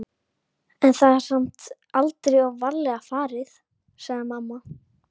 en það er samt aldrei of varlega farið, sagði mamma.